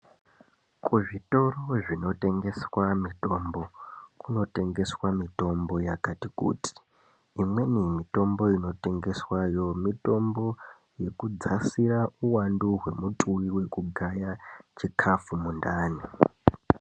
Kuzvitoro zvinotengeswa mitombo kunotengeswa mitombo yakati kuti. Imweni mitombo inotengeswayo mitombo yekudzasira uwandu hwemutuvi hwekugaya chikhafu mundani.